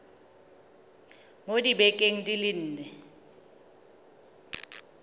mo dibekeng di le nne